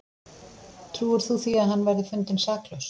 Trúir þú því að hann verði fundinn saklaus?